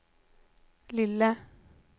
lille